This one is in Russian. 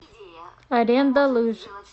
аренда лыж